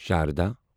Sharda